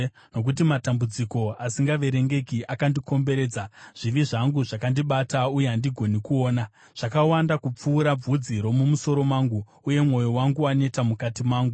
Nokuti matambudziko asingaverengeki akandikomberedza; zvivi zvangu zvakandibata, uye handigoni kuona. Zvakawanda kupfuura bvudzi romumusoro mangu, uye mwoyo wangu waneta mukati mangu.